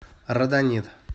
родонит